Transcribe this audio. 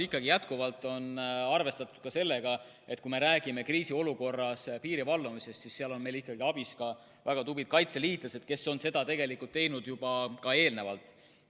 Ikkagi jätkuvalt on arvestatud ka sellega, et kui me räägime kriisiolukorras piiri valvamisest, siis seal on abiks väga tublid kaitseliitlased, kes on seda teinud juba ka eelnevalt.